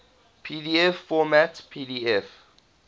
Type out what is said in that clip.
pdf format pdf